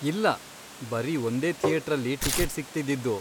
ಇಲ್ಲ, ಬರೀ ಒಂದೇ ಥಿಯೇಟ್ರಲ್ಲಿ ಟಿಕಿಟ್ ಸಿಗ್ತಿದ್ದಿದ್ದು.